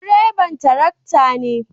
Direban tarakta ne